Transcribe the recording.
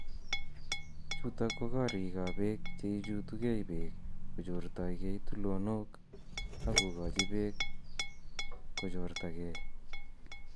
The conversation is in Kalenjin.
Chuuto ko kariigap peek che ichuutegei peek kochoortagei tuloonook, ak kogoochi peek kochoortagei.